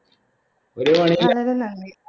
ഒരു